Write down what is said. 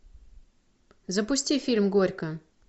запусти фильм горько